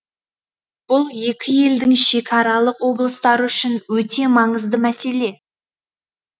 бұл екі елдің шекаралық облыстары үшін өте маңызды мәселе